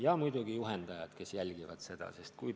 Ja muidugi juhendajad, kes tegevust jälgivad.